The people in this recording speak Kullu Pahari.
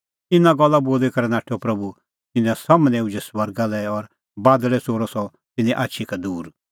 इना गल्ला बोली करै नाठअ प्रभू तिन्नां सम्हनै उझै स्वर्गा लै और बादल़ै च़ोरअ सह तिन्नें आछी का दूर